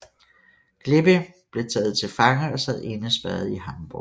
Glipping blev taget til fange og sad indespærret i Hamborg